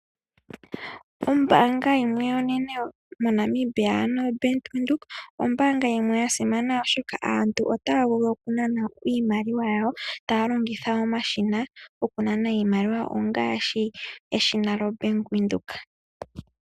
Ombaanga onene yo Bank Windhoek ,oyasimana oshoka aantu otaavulu okunana iimaliwa yawo taalongitha omashina gokunana iimaliwa ngaashi eshina lyo Bank Windhoek.